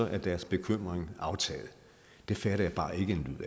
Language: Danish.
er deres bekymring aftaget det fatter jeg bare ikke en